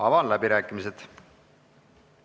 Avan läbirääkimised.